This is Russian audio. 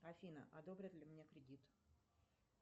афина одобрят ли мне кредит